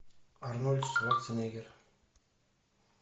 арнольд шварценеггер